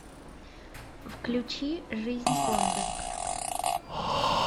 включи жизнь пондов